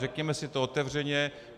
Řekněme si to otevřeně.